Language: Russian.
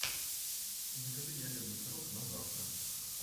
закажи ягодный пирог на завтра